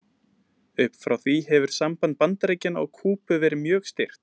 upp frá því hefur samband bandaríkjanna og kúbu verið mjög stirt